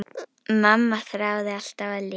Mamma þráði alltaf að lifa.